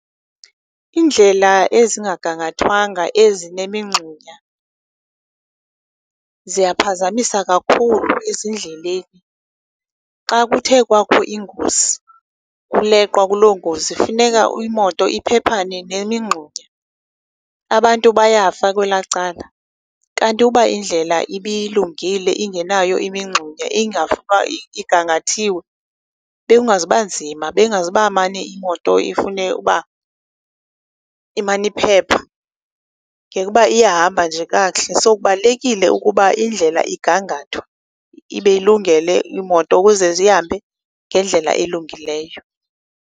Iindlela ezingagangathwanga ezinemingxunya ziyaphazamisa kakhulu ezindleleni. Xa kuthe kwakho ingozi kuleqwa kuloo ngozi, funeka imoto iphephane nemingxunya, abantu bayafa kwelaa cala. Kanti uba indlela ibilungile ingenayo imingxunya igangathiwe, bekungazoba nzima, bengazoba mane imoto ifune uba imane iphepha, ngekuba iyahamba nje kakuhle. So, kubalulekile ukuba indlela igangathwe, ibe ilungele iimoto ukuze zihambe ngendlela elungileyo.